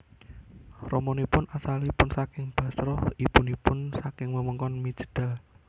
Ramanipun asalipun saking Bashrah ibunipun saking wewengkon Mijdal